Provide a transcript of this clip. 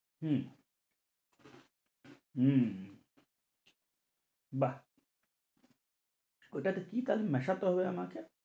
হম উম বাহ্ ওটাতে কি তাহলে মেশাতে হবে আমাকে?